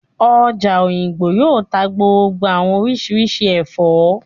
Ọjà Òyìngbò yóò tá gbogbo àwọn oríṣiríṣi ẹ̀fọ́